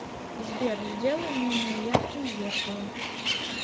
сбер сделай менее ярким зеркало